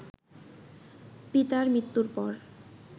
পিতার মৃত্যুর পর